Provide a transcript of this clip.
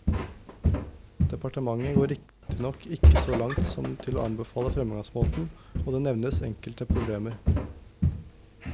Departementet går riktignok ikke så langt som til å anbefale fremgangsmåten, og det nevnes enkelte problemer.